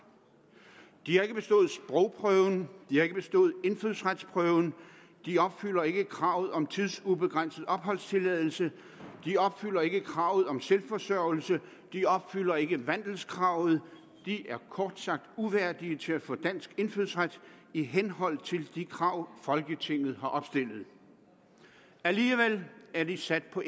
de har ikke bestået sprogprøven de har ikke bestået indfødsretsprøven de opfylder ikke kravet om tidsubegrænset opholdstilladelse de opfylder ikke kravet om selvforsørgelse de opfylder ikke vandelskravet de er kort sagt uværdige til at få dansk indfødsret i henhold til de krav folketinget har opstillet alligevel er de sat på